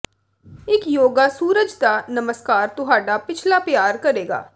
ਇੱਕ ਯੋਗਾ ਸੂਰਜ ਦਾ ਨਮਸਕਾਰ ਤੁਹਾਡਾ ਪਿਛਲਾ ਪਿਆਰ ਕਰੇਗਾ